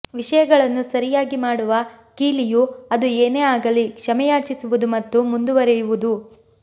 ವಿಷಯಗಳನ್ನು ಸರಿಯಾಗಿ ಮಾಡುವ ಕೀಲಿಯು ಅದು ಏನೇ ಆಗಲಿ ಕ್ಷಮೆಯಾಚಿಸುವುದು ಮತ್ತು ಮುಂದುವರೆಯುವುದು